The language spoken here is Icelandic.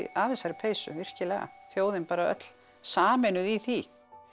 af þessari peysu virkilega þjóðin bara öll sameinuð í því